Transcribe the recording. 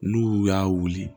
N'u y'u y'a wuli